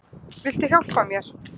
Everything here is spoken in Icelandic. Viltu hjálpa mér?